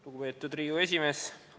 Lugupeetud Riigikogu esimees!